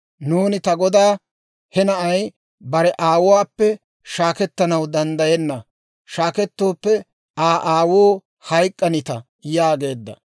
Nuuni ta godaa, ‹He na'ay bare aawuwaappe shaakettanaw danddayenna; shaakettooppe Aa aawuu hayk'k'anita› yaageedda.